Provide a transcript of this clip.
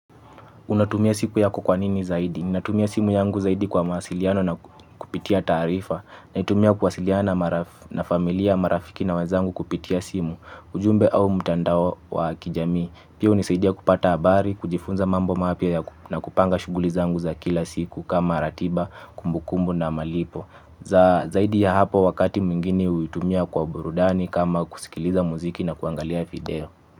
Unatumia simu yako kwanini zaidi? Ninatumia simu yangu zaidi kwa mawasiliano na kupitia taarifa. Naitumia kuwasiliana na familia, marafiki na wenzangu kupitia simu. Ujumbe au mtandao wa kijamii. Pia hunisaidia kupata habari, kujifunza mambo mapya na kupanga shughuli zangu za kila siku kama ratiba, kumbukumbu na malipo. Zaidi ya hapo, wakati mwigine huitumia kwa burudani kama kusikiliza muziki na kuangalia video.